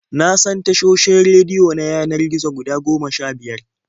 Na san tashoshin rediyo na yanar gizo guda goma sha-biyar.